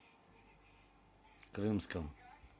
крымском